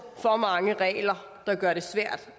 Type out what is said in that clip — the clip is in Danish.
for mange regler der gør det svært